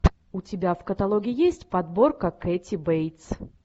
у тебя в каталоге есть подборка кэти бейтс